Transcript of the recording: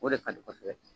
O de ka di kosɛbɛ